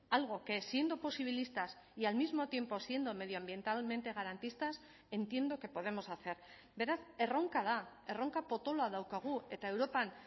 algo que siendo posibilistas y al mismo tiempo siendo medioambientalmente garantistas entiendo que podemos hacer beraz erronka da erronka potoloa daukagu eta europan